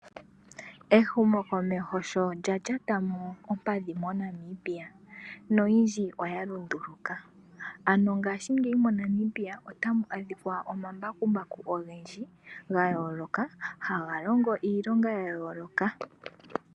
Ehumokomeho sho lya lyatamo ompadhi mo Namibia oyindji oya lunduluka, ano ngashingeyi monamibia otamu adhika omambakumbaku ogendji ga yooloka haga longo iilonga ya yooloka.